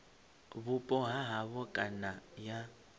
vhupo ha havho kana ya